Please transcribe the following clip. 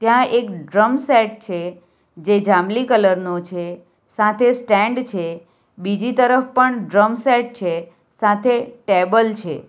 આ એક drum set છે જે જાંબલી કલર નો છે સાથે સ્ટેન્ડ છે બીજી તરફ પણ ડ્રમ સેટ છે. સાથે ટેબલ છે.